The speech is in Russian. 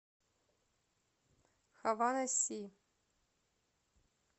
хавана си